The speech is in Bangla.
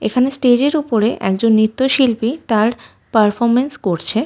এখানে স্টেজের উপরে একজন নিত্য শিল্পী তার পারফরম্যান্স করছে।